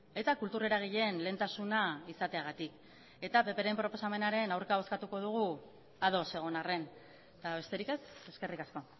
eta kultur eragileen lehentasuna izateagatik eta pp ren proposamenaren aurka bozkatuko dugu ados egon arren eta besterik ez eskerrik asko